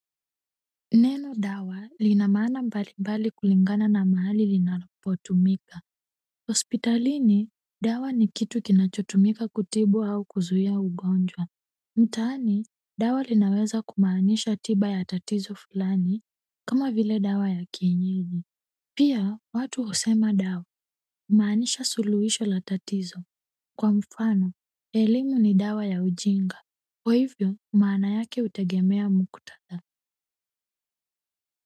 Neno dawa lina maana mbalimbali kulingana na mahali linapotumika hospitalini dawa ni kitu kinachotumika kutibu au kuzuia ugonjwa mtaani dawa linaweza kumaanisha tiba ya tatizo fulani kama vile dawa ya kienyili pia watu husema dawa kumaanisha suluhisho la tatizo kwa mfano elimu ni dawa ya ujinga kwa hivyo maana yake hutegemea muktadha.